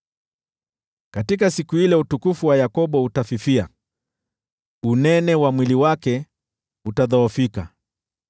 “Katika siku ile utukufu wa Yakobo utafifia, unono wa mwili wake utadhoofika.